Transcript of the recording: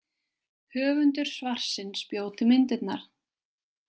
Höfundur svarsins bjó til myndirnar.